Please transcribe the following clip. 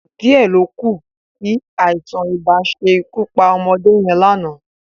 Díẹ̀ ló kù kí àìsàn-ibà ṣe ikú pa ọmọdé yẹn lánàá